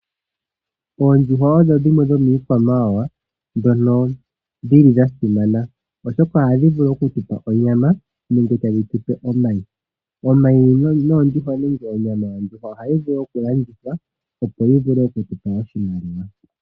Oondjuhwa odho dhimwe dhomiikwamawawa ndhono dhili dhasimana oshoka ohadhi gandja onyama nenge omayi. Omayi nonyama ohayi vulu okulandithwa, opo yitupe oshimaliwa.